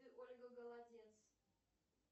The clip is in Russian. ольга голодец